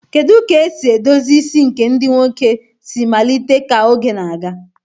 Kedu ka esi edozi isi nke ndị nwoke si malite ka oge na-aga